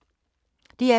DR2